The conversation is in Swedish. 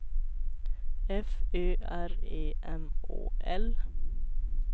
F Ö R E M Å L